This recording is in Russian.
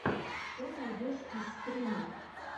что найдешь из стримов